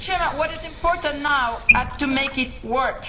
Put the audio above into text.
What is important now to make it work?